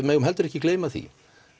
megum heldur ekki gleyma því